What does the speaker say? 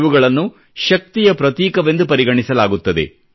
ಇವುಗಳನ್ನು ಶಕ್ತಿಯ ಪ್ರತೀಕವೆಂದು ಪರಿಗಣಿಸಲಾಗುತ್ತದೆ